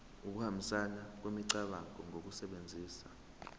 ukuhambisana kwemicabango ngokusebenzisa